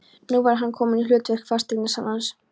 Nú var hann kominn í hlutverk fasteignasalans.